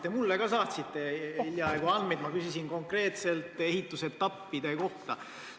Te hiljaaegu saatsite ka mulle andmeid – ma küsisin konkreetselt ehitusetappide kohta.